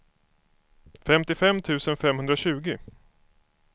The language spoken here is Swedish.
femtiofem tusen femhundratjugo